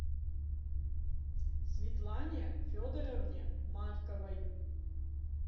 светлане федоровне марковой